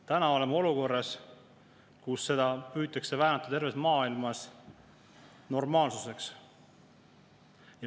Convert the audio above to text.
Täna oleme olukorras, kus seda püütakse väänata terves maailmas normaalsuseks.